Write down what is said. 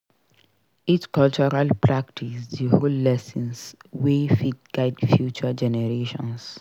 Each cultural practice dey hold lessons wey fit guide future generations.